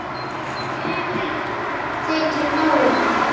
Sumum þykir nóg um.